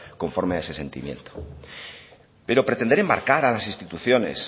conforme a ese sentimiento pero pretender enmarcar a las instituciones